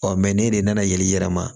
Ɔ ne de nana yɛlɛn i yɛrɛ ma